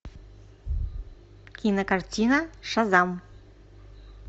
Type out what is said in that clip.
кинокартина шазам